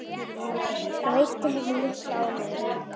Það veitti henni mikla ánægju.